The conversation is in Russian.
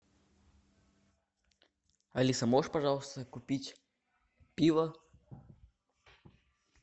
алиса можешь пожалуйста купить пиво